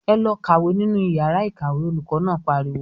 "Ẹ lọ kàwé nínú ìyàrá-ìkàwé!" Olùkọ́ náà pariwo.